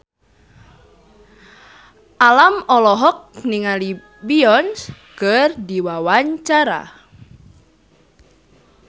Alam olohok ningali Beyonce keur diwawancara